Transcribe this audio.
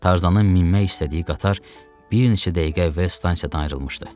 Tarzanın minmək istədiyi qatar bir neçə dəqiqə əvvəl stansiyadan ayrılmışdı.